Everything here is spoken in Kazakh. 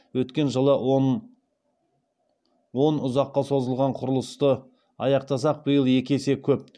өткен жылы он он ұзаққа созылған құрылысты аяқтасақ биыл екі есе көп